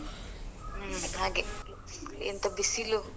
ಹ್ಮ್ ಹಾಗೆ ಎಂತ ಬಿಸಿಲು.